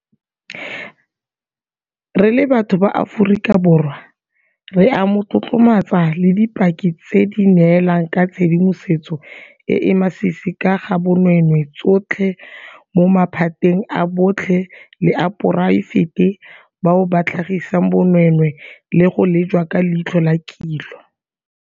Re le batho ba Aforika Borwa re a mo tlotlomatsa le dipaki tse di neelang ka tshedimosetso e e masisi ka ga bonweenwee tsotlhe mo maphateng a botlhe le a poraefete bao ba tlhagisang bonweenwee le go lejwa ka leitlho la kilo.